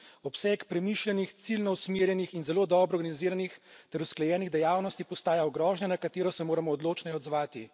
Obseg premišljenih, ciljno usmerjenih in zelo dobro organiziranih ter usklajenih dejavnosti postaja grožnja, na katero se moramo odločneje odzvati.